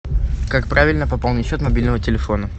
как правильно пополнить счет мобильного телефона